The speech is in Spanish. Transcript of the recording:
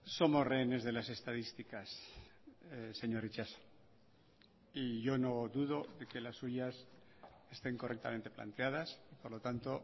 somos rehenes de las estadísticas señor itxaso y yo no dudo que las suyas estén correctamente planteadas por lo tanto